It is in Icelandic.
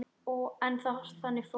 En þannig fór.